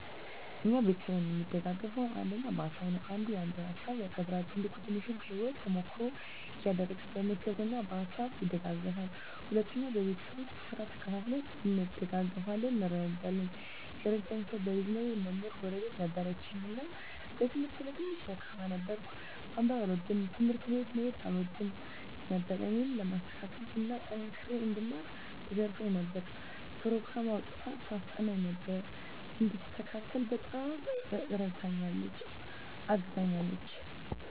እኛ ቤተሰብ እሚደጋገፈዉ አንደኛ በሀሳብ ነዉ። አንዱ ያንዱን ሀሳብ ያከብራል፣ ትልቁ ትንሹን ከህይወቱ ተሞክሮ እያደረገ በምክር እና በሀሳብ ይደግፉናል። ሁለተኛ በቤት ዉስጥ ስራ ተከፋፍለን እንደጋገፋለን (እንረዳዳለን) ። የረዳኝ ሰዉ በልጅነቴ መምህር ጎረቤት ነበረችን እና በትምህርቴ ላይ ትንሽ ደካማ ነበርኩ፤ ማንበብ አልወድም፣ ትምህርት ቤት መሄድ አልወድም ነበር እኔን ለማስተካከል እና ጠንክሬ እንድማር ትገርፈኝ ነበር፣ ኘሮግራም አዉጥታ ታስጠናኝ ነበር፣ እንድስተካከል በጣም እረድታኛለች(አግዛኛለች) ።